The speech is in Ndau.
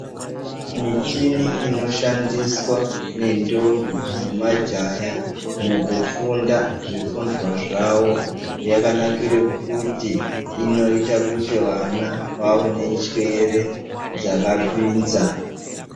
Michini inoshandiswa nentombi nemajaya mukufunda zvifundwa zvavo, yakanakire kuti inoita kuti vana vawenenjere dzakapinza .